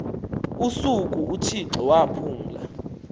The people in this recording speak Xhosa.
usuku uthixo waphumla